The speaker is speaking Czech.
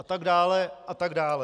A tak dále, a tak dále.